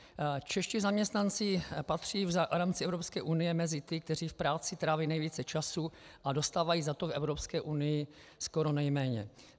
Čeští zaměstnanci patří v rámci EU mezi ty, kteří v práci tráví nejvíce času, a dostávají za to v EU skoro nejméně.